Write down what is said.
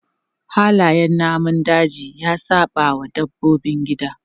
Halayen namun daji ya saɓawa dabbobin gida.